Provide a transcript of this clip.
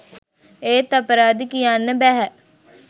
ඒත් අපරාදේ කියන්න බැහැ